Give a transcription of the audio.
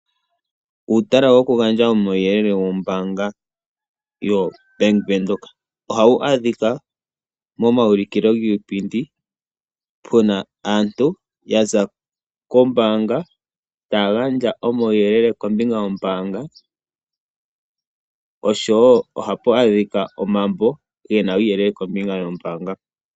Uutala gwoku gandja omauyelele gombaanga yoBank Windhoek, ohawu adhika mo maulikilo giipindi, puna aantu yaza kombaanga, taya gandja omauyelele kombinga yoombaanga, oshowo ohapu adhika omambo gena uuyelele kombinga yoombaanga.